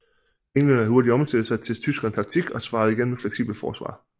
Englænderne havde hurtigt omstillet sig til tyskernes nye taktik og svarede igen med et fleksibelt forsvar